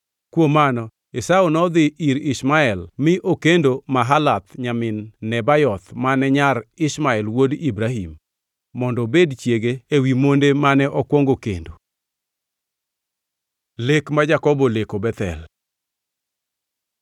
Kuom mano Esau nodhi ir Ishmael mi okendo Mahalath nyamin Nebayoth mane nyar Ishmael wuod Ibrahim, mondo obed chiege ewi monde mane okwongo kendo. Lek ma Jakobo oleko Bethel